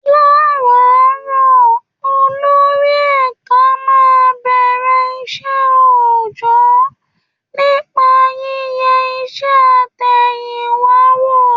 Láràárọ̀, olórí ẹ̀ka máa ń bẹ̀rẹ̀ iṣẹ́ òòjọ́ nípa yíyẹ iṣẹ́ àtẹ̀yìnwá wò